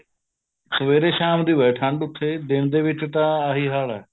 ਸਵੇਰੇ ਸਾਮ ਦੀ ਬੜੀ ਠੰਡ ਉਥੇ ਦਿਨੇ ਦੇ ਵਿੱਚ ਤਾਂ ਆਈ ਹਾਲ ਏ